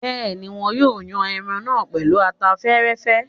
Bẹ́ẹ̀ni, wọn yóò yan ẹran náà pẹ̀lú ata fẹ́rẹ́fẹ́